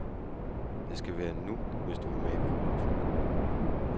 Det skal være nu, hvis du vil med i biografen.